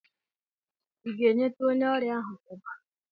I ga-enyetụ onye ọrịa ahụ ọbara?